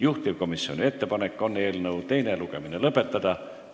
Juhtivkomisjoni ettepanek on eelnõu teine lugemine lõpetada.